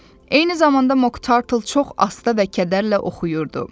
Eyni zamanda Moktartl çox asta və kədərlə oxuyurdu.